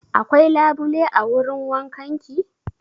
Akwai labule a wurin wankan ki?